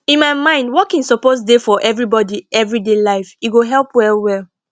in my mind walking suppose dey for everybody everyday life e go help well well